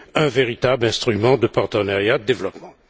un véritable instrument de partenariat de développement?